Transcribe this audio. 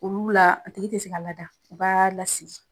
Olu la, a tigi te se ka lada u b'a lasigi.